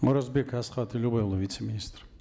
оразбек асхат елубайұлы вице министр